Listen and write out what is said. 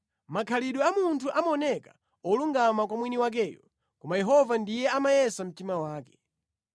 Makhalidwe a munthu amaoneka olungama kwa mwini wakeyo, koma Yehova ndiye amayesa mtima wake.